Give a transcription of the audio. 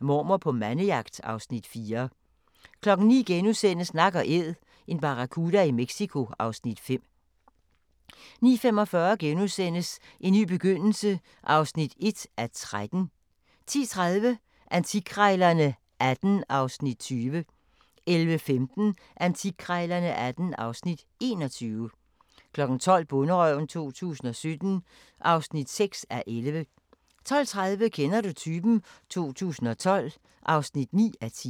Mormor på mandejagt (Afs. 4)* 09:00: Nak & Æd – en barracuda i Mexico (Afs. 5)* 09:45: En ny begyndelse (1:13)* 10:30: Antikkrejlerne XVIII (Afs. 20) 11:15: Antikkrejlerne XVIII (Afs. 21) 12:00: Bonderøven 2017 (6:11) 12:30: Kender du typen? 2012 (9:10)